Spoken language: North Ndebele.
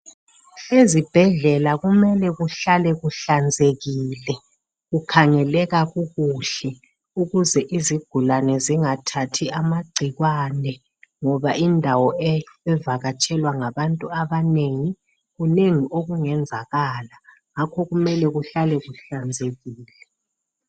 Ezibhedlela kumele kuhlale kuhlanzekile kukhangeleka kukuhle ukuze izigulane zingathathi amagcikwane ngoba indawo evakatshelwa ngabantu abanengi kunengi okungenzakala ngakho kumele kuhlale kulanzekile.